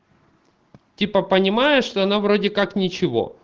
типа понимаешь что она вроде как ничего